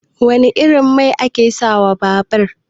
Wane irin mai ake sa wa babar?